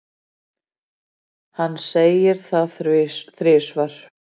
Hann segir það þrisvar.